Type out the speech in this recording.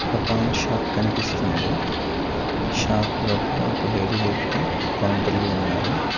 ఒక పాన్ షాప్ కనిపిస్తుంది షాప్ లోపల ఒక లేడీ వ్యక్తి కౌంటర్ లో ఉన్నారు.